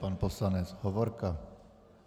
Pan poslanec Hovorka.